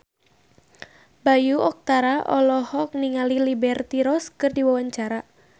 Bayu Octara olohok ningali Liberty Ross keur diwawancara